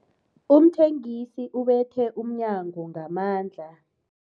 Umthengisi ubethe umnyango ngamandla.